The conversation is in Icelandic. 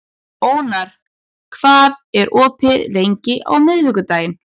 Ónar, hvað er opið lengi á miðvikudaginn?